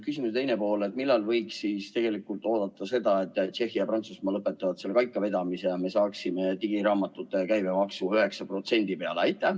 Küsimuse teine pool on see, millal võiks oodata seda, et Tšehhi ja Prantsusmaa lõpetavad vägikaikavedamise ja me saaksime digiraamatute käibemaksu 9% peale?